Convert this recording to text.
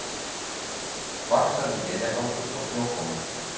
Vaxandi éljagangur og snjókoma